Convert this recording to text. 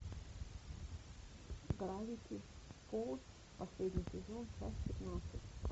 гравити фолз последний сезон часть пятнадцать